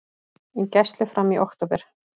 Í gæslu fram í október